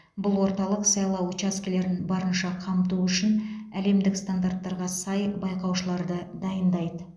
бұл орталық сайлау учаскелерін барынша қамту үшін әлемдік стандарттарға сай байқаушыларды дайындайды